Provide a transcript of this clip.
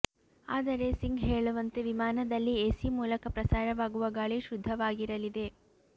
ಆದರೆ ಸಿಂಗ್ ಹೇಳುವಂತೆ ವಿಮಾನದಲ್ಲಿ ಎಸಿ ಮೂಲಕ ಪ್ರಸಾರವಾಗುವ ಗಾಳಿ ಶುದ್ಧವಾಗಿರಲಿದೆ